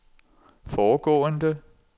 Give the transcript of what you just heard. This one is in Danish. foregående